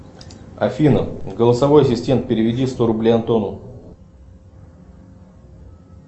афина голосовой ассистент переведи сто рублей антону